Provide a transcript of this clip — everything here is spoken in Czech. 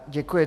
Děkuji.